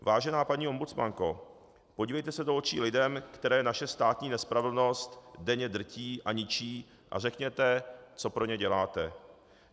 Vážená paní ombudsmanko, podívejte se do očí lidem, které naše státní nespravedlnost denně drtí a ničí, a řekněte, co pro ně děláte.